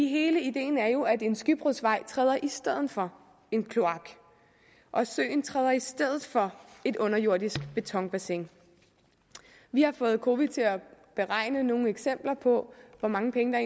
hele ideen er jo at en skybrudsvej træder i stedet for en kloak og at søen træder i stedet for et underjordisk betonbassin vi har fået cowi til at beregne nogle eksempler på hvor mange penge der